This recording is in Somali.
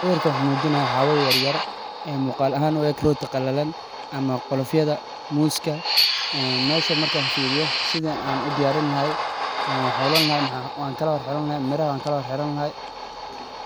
Sawirkan waxuu mujinayaa xaawo yaryar ee muqaal ahaan u eg rooti qallalan ,ama qolofyada muuska .Meshan markaan firiyo sida aan u diyaarin lahay ,waxan xulan lahay ,miraha waan kala hor xiran lahaay